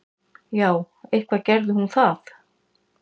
Já, eitthvað gerði hún það.